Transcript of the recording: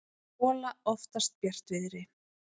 gola oftast bjartviðri.